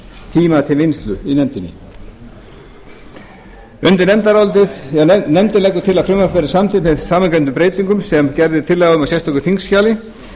tíma til vinnslu í nefndinni nefndin leggur til að frumvarpið verði samþykkt með framangreindum breytingum sem gerð er tillaga um á sérstöku þingskjali